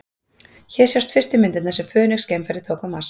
Hér sjást fyrstu myndirnar sem Fönix-geimfarið tók á Mars.